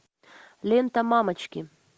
лента мамочки